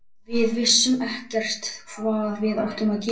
Við vissum ekkert hvað við áttum að gera.